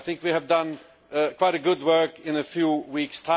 I think we have done quite a good job in a few weeks.